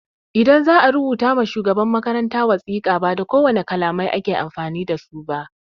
Idan za'a rubuta ma shugaban makaranta wasika, ba da kowane kalamai ake amfani dasu ba.